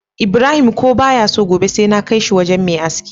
Ibrahim ko baya so gobe sai na kai shi wajan Me aski